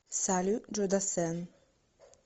салют джо дассен